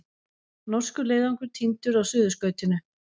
Norskur leiðangur týndur á Suðurskautinu